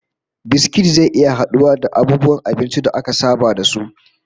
Biskit zai iya haduwa da abubuwan abinci da aka saba da su